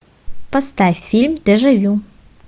поставь фильм дежавю